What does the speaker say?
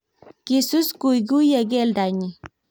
kisus kuikuyie keldo nyin